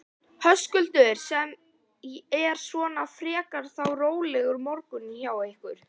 Höskuldur: Sem er svona frekar þá rólegur morgunn hjá ykkur?